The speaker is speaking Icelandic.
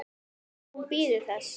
Hún bíður þess.